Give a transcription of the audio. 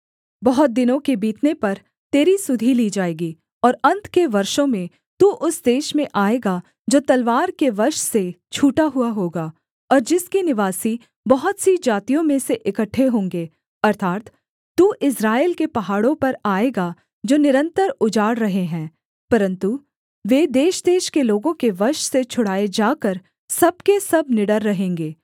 बहुत दिनों के बीतने पर तेरी सुधि ली जाएगी और अन्त के वर्षों में तू उस देश में आएगा जो तलवार के वश से छूटा हुआ होगा और जिसके निवासी बहुत सी जातियों में से इकट्ठे होंगे अर्थात् तू इस्राएल के पहाड़ों पर आएगा जो निरन्तर उजाड़ रहे हैं परन्तु वे देशदेश के लोगों के वश से छुड़ाए जाकर सब के सब निडर रहेंगे